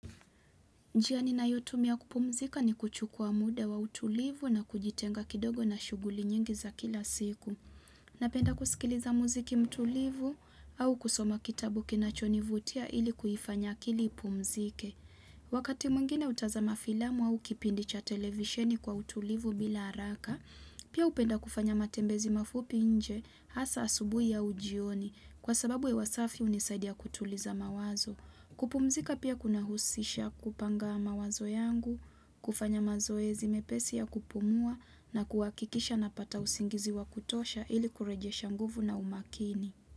Njia ninayotumia kupumzika ni kuchukua muda wa utulivu na kujitenga kidogo na shughuli nyingi za kila siku. Napenda kusikiliza mziki mtulivu au kusoma kitabu kinachonivutia ili kuifanya akili ipumzike. Wakati mwingine hutazama filamu au kipindi cha televisheni kwa utulivu bila haraka, pia hupenda kufanya matembezi mafupi nje hasa asubuhu au jioni, kwa sababu hewa safi hunisaidia kutuliza mawazo. Kupumzika pia kunahusisha kupanga mawazo yangu, kufanya mazoezi mepesi ya kupumua na kuhakikisha napata usingizi wa kutosha ili kurejesha nguvu na umakini.